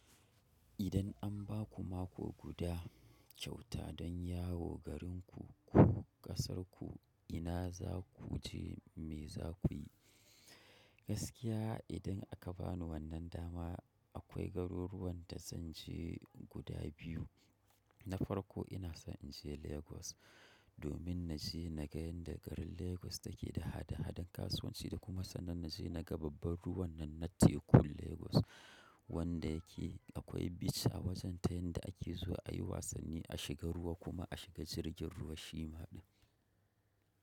Idan an ba ku mako guda kyauta don yawo garinku ko ƙasarku, ina za ku je, me za ku yi? Gaskiya idan aka ba ni wannan dama, akwai garuruwan da zan je guda biyu. Na farko ina so in je Lagos domin na je na ga inda garin Lagos take da hada-hadan kasuwanci da kuma sannan na je na ga babbar ruwan nan na teku Lagos wanda yake akwai beach a wajen ta yanda ake zuwa ayi wasanni, a shiga ruwa kuma a shiga jirgin ruwa shima ɗin.